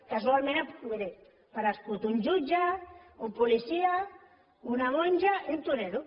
casualment miri ha aparegut un jutge un policia una monja i un torero